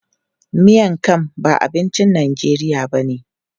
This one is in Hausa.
Miang kham ba abincin Najeriya ba ne.